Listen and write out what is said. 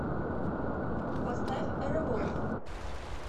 поставь револв